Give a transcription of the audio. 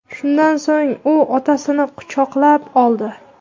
Shundan so‘ng u otasini quchoqlab oldi.